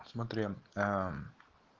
смотри а